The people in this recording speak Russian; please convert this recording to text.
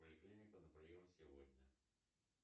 поликлиника на прием сегодня